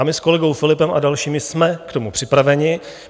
A my s kolegou Philippem a dalšími jsme k tomu připraveni.